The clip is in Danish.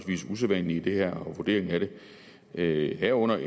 usædvanlige i det her og vurderingen af det herunder